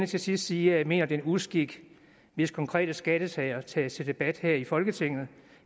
til sidst sige at jeg mener det er en uskik hvis konkrete skattesager sættes til debat her i folketinget